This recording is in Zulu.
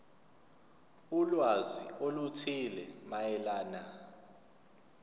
ulwazi oluthile mayelana